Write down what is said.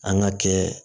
An ka kɛ